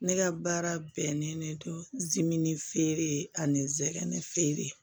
Ne ka baara bɛnnen don zimini feere ani zɛgɛn fere